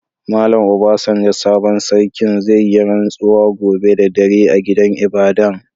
Mallam Obasanjo sabon sarkin, zai yi ransuwa gobe da dare a gidan ibada'n.